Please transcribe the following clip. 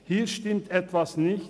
Hier stimmt etwas nicht;